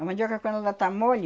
A mandioca quando ela tá mole,